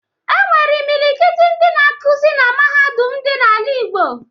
E nwekwere imilikiti ndị na-akuzi na Mahadum dị n'ala Igbo